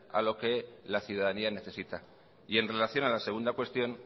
a lo que la ciudadanía necesita y en relación a la segunda cuestión